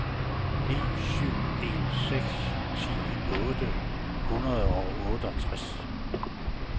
ni syv en seks ti otte hundrede og otteogtres